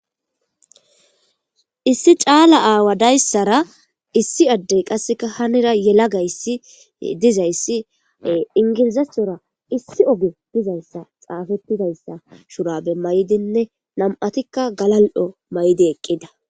Issi caala aawa dayssara issi addey qasseka hanira yela gayssi dizayssi ingirizasora issi oge dizayssa xaafettidayssa shurabe may7dinne nam7atikka galal7o may7di eqqida